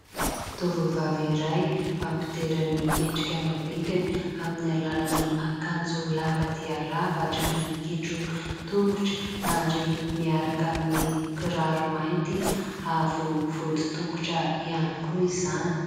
tovovavy iray mampitera ny endrika mambikany amin'ny alalany akanjo lava dia lava hatra any amin'ny kitro tongotra ary miaraka amin'ny kiraro mainty avo vody tongotra ihany koa izany